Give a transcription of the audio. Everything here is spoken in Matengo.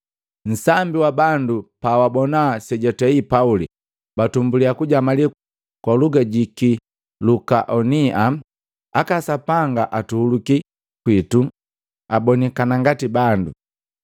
Nsambi wa bandu pawabona sejwatei Pauli, batumbuliya kujamali kwa luga ji ki lukaonia, “Aka sapanga atuhuluki kwitu abonikana ngati bandu!”